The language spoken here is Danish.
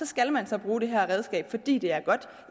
skal man så bruge det her redskab fordi det er godt